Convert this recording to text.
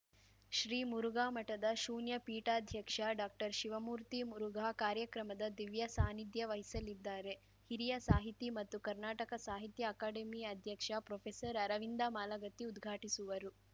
ಶ್ರೀ ಮುರುಘಾ ಮಠದ ಶೂನ್ಯ ಪೀಠಾಧ್ಯಕ್ಷ ಡಾಕ್ಟರ್ಶಿವಮೂರ್ತಿ ಮುರುಘಾ ಕಾರ್ಯಕ್ರಮದ ದಿವ್ಯಸಾನ್ನಿಧ್ಯ ವಹಿಸಲಿದ್ದಾರೆ ಹಿರಿಯ ಸಾಹಿತಿ ಮತ್ತು ಕರ್ನಾಟಕ ಸಾಹಿತ್ಯ ಅಕಾಡೆಮಿ ಅಧ್ಯಕ್ಷ ಪ್ರೊಫೆಸರ್ಅರವಿಂದ ಮಾಲಗತ್ತಿ ಉದ್ಘಾಟಿಸುವರು